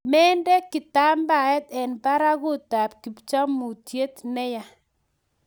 Mende kitambaet eng barakut ab kipchamutiet ne yaa